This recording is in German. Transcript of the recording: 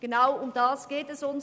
Genau darum geht es uns: